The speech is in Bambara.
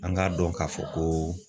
An k'a dɔn k'a fɔ ko